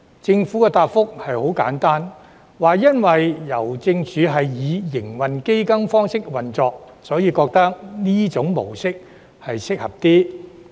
政府的答覆很簡單，因為郵政署是以營運基金方式運作，故此覺得這種模式較適合。